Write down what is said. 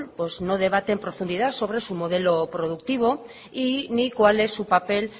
no debate en profundidad sobre su modelo productivo ni cuál es su papel